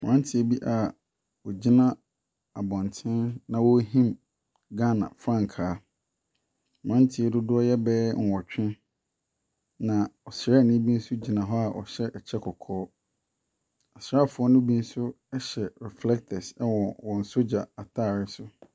Mmranteɛ bi a wɔgyina abɔnten na wɔrehin Ghana frankaa. Mmranteɛ yi dodoɔ yɛ bɛyɛ nnwɔtwe. Na ɔsra ni bi nso gyina hɔ a ɔɔhyɛ. Ɛkyɛ kɔkɔɔ. Asrafoɔ no bi nso hyɛ reflector wɔ wɔn sogya ataare so.